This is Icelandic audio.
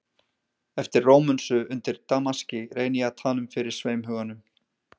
Eftir Rómönsu, undir damaski, reyni ég að tala um fyrir sveimhuganum